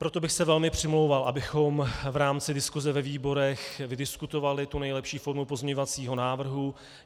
Proto bych se velmi přimlouval, abychom v rámci diskuse ve výborech vydiskutovali tu nejlepší formu pozměňovacího návrhu.